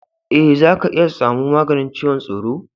Ee, za ka iya tsamu maganin ciwon tsoro.